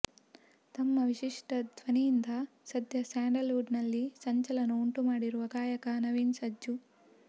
ತಮ್ಮ ವಿಶಿಷ್ಟ ಧ್ವನಿಯಿಂದ ಸದ್ಯ ಸ್ಯಾಂಡಲ್ ವುಡ್ ನಲ್ಲಿ ಸಂಚಲನ ಉಂಟು ಮಾಡಿರುವ ಗಾಯಕ ನವೀನ್ ಸಜ್ಜು